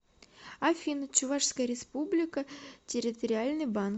афина чувашская республика территориальный банк